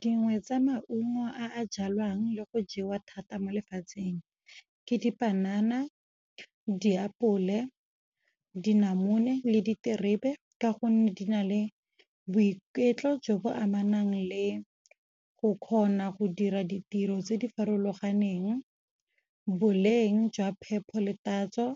Dingwe tsa maungo a jalwang le go jewa thata mo lefatsheng. Ke dipanana, diapole, dinamune le diterebe, ka gonne di na le boiketlo jo bo amanang le go kgona go dira ditiro tse di farologaneng. Boleng jwa phepho le tatso